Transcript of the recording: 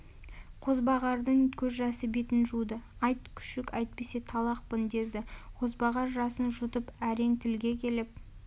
қозбағардың көз жасы бетін жуды айт күшік әйтпесе талақпын деді қозбағар жасын жұтып әрең тілге келіп